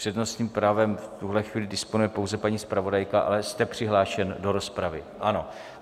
Přednostním právem v tuhle chvíli disponuje pouze paní zpravodajka, ale jste přihlášen do rozpravy, ano.